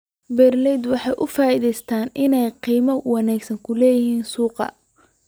Waxay ka faa'iideysteen inay qiimo wanaagsan ka helaan suuqa.